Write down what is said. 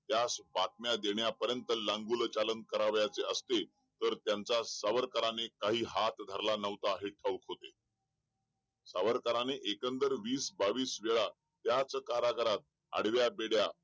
त्याला बातम्या देण्यापर्यंत लागोल चालन करावयाचे असते तर त्यांचा सावरकरांनी काही हात धरला नव्हता हे ठाऊक होते सावकारांनी एकंदर वीस बावीस वेळा त्याच कारगृहात आडव्या बेड्या